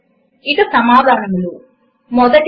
ఇక సమాధానాలు 1